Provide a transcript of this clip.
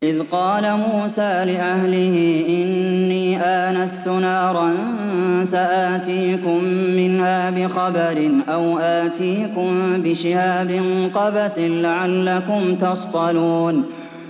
إِذْ قَالَ مُوسَىٰ لِأَهْلِهِ إِنِّي آنَسْتُ نَارًا سَآتِيكُم مِّنْهَا بِخَبَرٍ أَوْ آتِيكُم بِشِهَابٍ قَبَسٍ لَّعَلَّكُمْ تَصْطَلُونَ